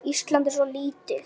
Ísland er svo lítið!